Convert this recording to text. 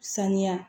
Sanuya